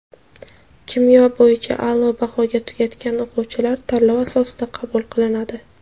kimyo – bo‘yicha aʼlo bahoga tugatgan) o‘quvchilar tanlov asosida qabul qilinadi.